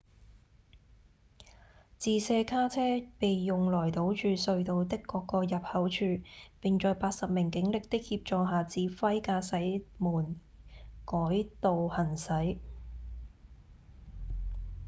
自卸卡車被用來堵住隧道的各個入口處並在80名警力的協助下指揮駕駛們改道行駛